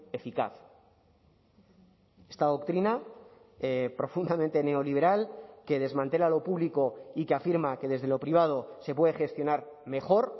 eficaz esta doctrina profundamente neoliberal que desmantela lo público y que afirma que desde lo privado se puede gestionar mejor